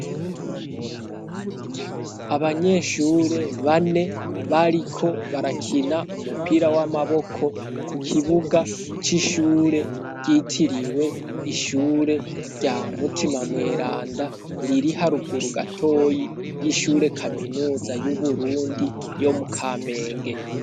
Abanyeshure bane bariko barakina umupira w'amaboko ku kibuga c'ishure ryitiriwe Ishure rya Mutima Mweranda, riri haruguru gatoyi y'Ishure Kaminuza y'Uburundi yo mu Kamenge.